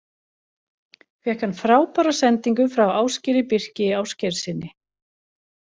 Fékk hann frábæra sendingu frá Ásgeiri Birki Ásgeirssyni.